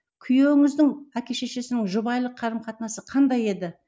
күйеуіңіздің әке шешесінің жұбайлық қарым қатынасы қандай еді